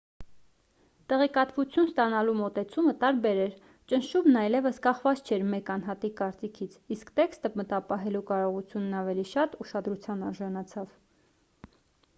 տեղեկատվություն ստանալու մոտեցումը տարբեր էր ճնշումն այլևս կախված չէր մեկ անհատի կարծիքից իսկ տեքստը մտապահելու կարողությունն ավելի շատ ուշադրության արժանացավ